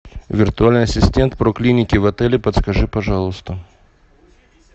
виртуальный ассистент про клиники в отеле подскажи пожалуйста